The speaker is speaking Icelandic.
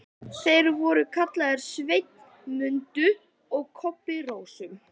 Þeir voru kallaðir SVENNI MUNDU og KOBBI RÓSU.